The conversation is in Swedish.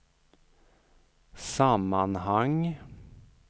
sammanhang